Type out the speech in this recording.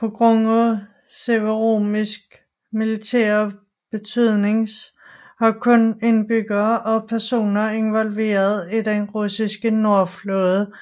På grund af Severomorsk militære betydnings har kun indbyggere og personer involveret i den russiske nordflåde